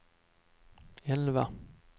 elva